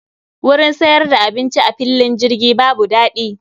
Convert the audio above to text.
Wurin siyar da abinci a fillin jirgi babu dadi